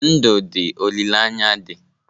Ndụ dị, olileanya dị.